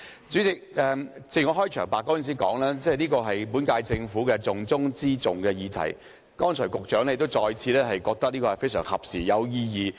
主席，我在開場發言時說這議題是本屆政府的"重中之重"，而剛才局長亦再次表示這項辯論非常合時和有意義。